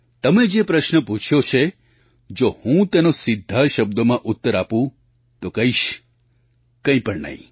તમે જે પ્રશ્ન પૂછ્યો છે જો હું તેનો સીધા શબ્દોમાં ઉત્તર આપું તો કહીશ કંઈ પણ નહીં